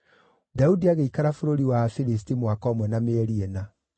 Daudi agĩikara bũrũri wa Afilisti mwaka ũmwe na mĩeri ĩna.